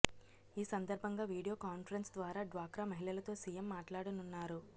ఈ సందర్భంగా video conference ద్వారా డ్వాక్రా మహిళలతో సీఎం మాట్లాడనున్నారు